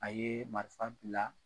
A ye marifa bila